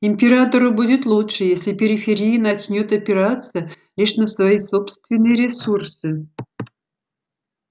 императору будет лучше если периферия начнёт опираться лишь на свои собственные ресурсы